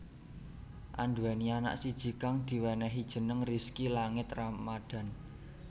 Anduweni anak siji kang diwenehi jeneng Rizky Langit Ramadhan